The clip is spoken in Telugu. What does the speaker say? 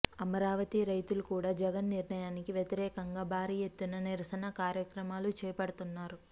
అమరావతి రైతులు కూడా జగన్ నిర్ణయానికి వ్యతిరేకంగా భారీ ఎత్తున నిరసన కార్యక్రమాలు చేపడుతున్నారు